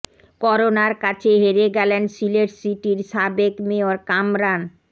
করোনার কাছে হেরে গেলেন সিলেট সিটির সাবেক মেয়র কামরান